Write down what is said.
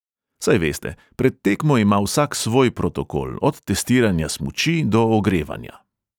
Saj veste, pred tekmo ima vsak svoj protokol, od testiranja smuči do ogrevanja.